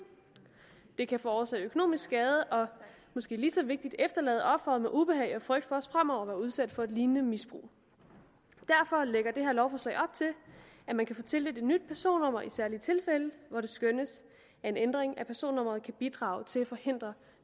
det kan forårsage økonomisk skade og måske lige så vigtigt efterlade offeret med ubehag og frygt for også fremover at blive udsat for et lignende misbrug derfor lægger det her lovforslag op til at man kan få tildelt et nyt personnummer i særlige tilfælde hvor det skønnes at en ændring af personnummeret kan bidrage til at forhindre